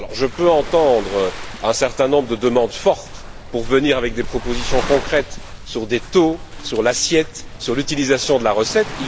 Je peux entendre un certain nombre de demandes fortes de présenter des propositions concrètes sur des taux, sur l'assiette, sur l'utilisation de la recette.